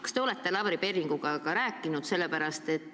Kas te olete Lavly Perlingu endaga rääkinud?